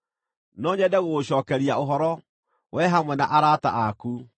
“No nyende gũgũcookeria ũhoro, wee hamwe na arata aku.